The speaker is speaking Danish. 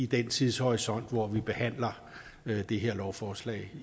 den tidshorisont hvor vi behandler det her lovforslag